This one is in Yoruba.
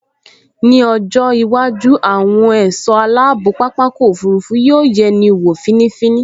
Ní ọjọ́ iwájú, àwọn ẹ̀ṣọ́ aláàbò pápákọ̀ òfurufú yóò yẹni wọ̀ fínífíní